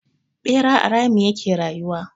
Ɓera a rami ya ke rayuwa.